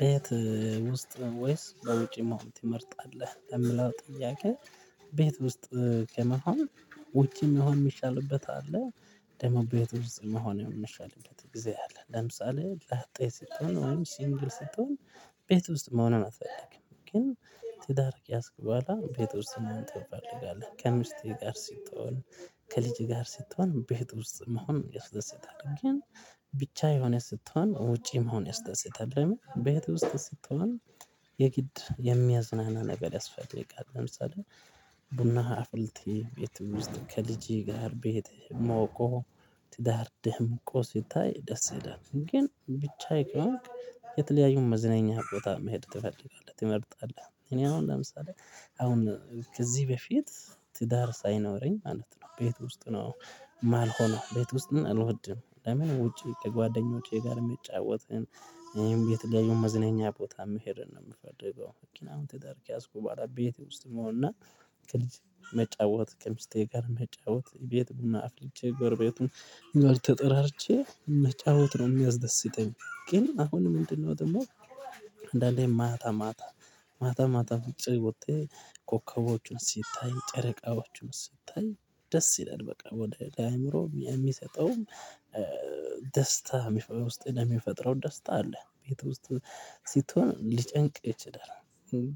ቤት ውስጥ ወይስ በውጪ መሆን ትመርጣለህ የምለው ጥያቄ? ቤት ውስጥ ከመሆን ውጭን መሆን የሚቻልበት አለ ደግሞ ቤት ውስጥ መሆን የምንችልበት እግዚአብሔር አለ። ለምሳሌ ላጤ ስትሆን ወይም ሲንግል ስትሆን። ቤት ውስጥ መሆኑን አትፈልግም ግን ትዳር ከያዝክ በኋላ ቤት ውስጥ መሆን ትፈልጋለህ ከሚስቴ ጋር ስትሆን። ከልጅ ጋር ስትሆን ቤት ውስጥ መሆን ያስደስታል። ግን ብቻ የሆነ ስትሆን ውጪ መሆን ያስደስታል በህት ውስጥ ስትሆን። የግድ የሚያዝናና ነገር ያስፈልጋል። ለምሳሌ ቡና አፍልቴ ቤት ውስጥ ከልጄ ጋር ቤት ሙቆ ትዳር ደምቆስ ይታይ ደስ ይላል። ግን ብቻዬ ከሆነ የተለያዩ መዝነኛ ቦታ መሄድ ትፈልጋለህ ትመርጣለህ እኔ አሁን ለምሳሌ። አሁን ከዚህ በፊት ትዳር ሳይኖረኝ ማለት ነው ቤት ውስጥ ነው። ማልሆነው ሆኖ ቤት ውስጥ እልወድም ለምን ውጪ ከጓደኞቼ ጋር የሚጫወትህን የተለያዩን መዝናኛ ቦታ መሄድ ነው የምፈልገው። ምክንያት ትዳር ከያዝኩ በኋላ ቤቴ ውስጥ መሆን እና ከልጅ መጫወት ጀምሽቴ ጋር መጫወት ቤት ብናፍልቼ ጎርቤቱን ነው ተጠራርቼ መጫወት ነው የሚያስደስተኝ። ግን አሁን ምንድነው ደግሞ? አንዳንዴ ማታ ማታ ማታ ማታ ፍጭ ውጤት ኮከቦችን ሲታይ ጨረቃዎችን ሲታይ ደስ ይለናል። በቃ ወደ አእምሮ የሚሰጠውም ደስታ ውስጥ የሚፈጥረው ደስታ አለ። ቤት ውስጥ ስትሆን ሊጨንቅ ይችላል።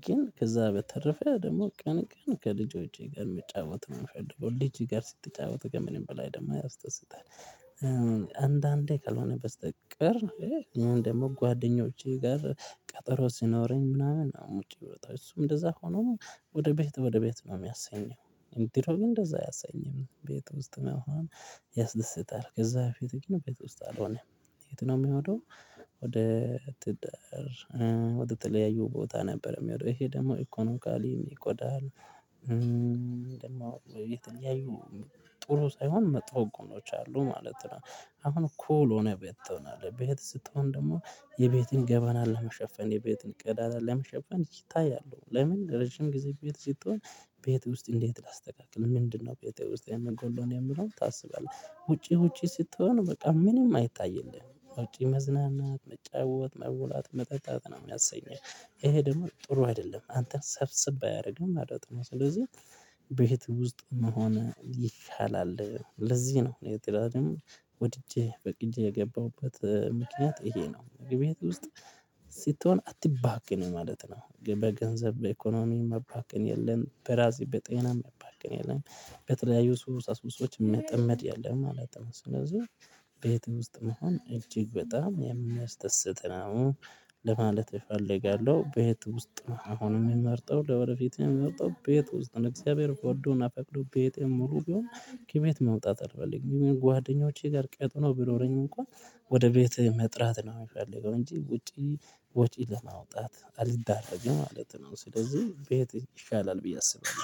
ግን ከዛ በተረፈ ደግሞ ቀን ቀን ከልጅ ወጪ ጋር መጫወት ነው የምፈልገው። ልጅ ጋር ስትጫወት ገምሬም በላይ ደግሞ አያስደስትሃል። አንዳንዴ ካልሆነ በስተቀር ነው። ይሄ ደግሞ ጓደኞቼ ጋር ቀጠሮ ሲኖረኝ ምናምን አሁን ውጪ ህይወታችን እሱም እንደዛ ሆኖ ወደ ቤት ወደ ቤት ነው የሚያሰኘው። ድሮ ግን እንደዛ አያሰኝም ቤት ውስጥ መሆን ያስደስታል። ከዛ በፊትህ ግን ቤት ውስጥ አልሆነም። የት ነው የሚሆነው? ወደ ትዳር ወደ ተለያዩ ቦታ ነበር የሚወደው ይሄ ደግሞ ኢኮኖካሊ ይጎዳል። ደግሞ የተለያዩ ጥሩ ሳይሆን መጥፎ ጎኖች አሉ ማለት ነው። አሁን እኮ ሆነ ቤት ትሆናለህ ቤት ስትሆን ደግሞ የቤትን ገባናል ለመሸፈን የቤትን ቀዳዳ ለመሸፈን ይታያሉ። ለምን ረጅም ጊዜ ቤት ስትሆን ቤት ውስጥ እንዴት ላስተካክል ምንድነው? ቤት ውስጥ የምንገውን የምለውን ታስባለህ? ውጪ ውጪ ስትሆን በቃ ምንም አይታይልህም ውጪ መዝናናት መጫወት መውላት መጠጣጥ ነው የሚያሰኘው። ይሄ ደግሞ ጥሩ አይደለም አንተን ሰብስብ አያደርግም መለት ነው። ስለዚህ ቤት ውስጥ መሆን ይሻላል። ለዚህ ነው እኔ ትዳርን ወድጀ ፈቅጀ የገባሁበት ምክንያት ይሄ ነው። ቤት ውስጥ ስትሆን አትባክንም ማለት ነው። በገንዘብ በኢኮኖሚ መባከን የለም በራዚ በጤና መባከን የለም። በተለያዩ ሱሳሱሶች መጠመድ የለም መለት ነው። ስለዚህ ቤትም ውስጥ መሆን እጅግ በጣም የሚያስደስት ነው። ለማለት እፈልጋለሁ። ቤት ውስጥ መሆንን የምመርጠው ለወደፊትም የምመርጠው ቤት ውስጥ እግዚአብሔር ፈርዶና ፈቅዶ ቤት ሙሉ ቢሆን ከቤት መውጣት አልፈልግም። የሚል ጓደኞቼ ጋር ቀጠሮ ቢኖረኝ እንኳን ወደ ቤት መጥራት ነው የሚፈልገው። እንጂ ውጪ ወጪ ለማውጣት አልዳረገም ማለት ነው። ስለዚህ ቤት ይሻላል ብዬ አስብኩኝ